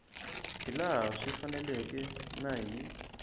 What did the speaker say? hilaha swi faneleke na hi